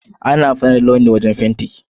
Ana amfani da launi wajen fenti.